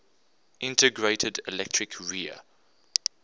integrated electric rear